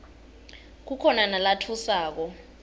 kukhona nalatfusako